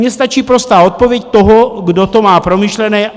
Mně stačí prostá odpověď toho, kdo to má promyšlené.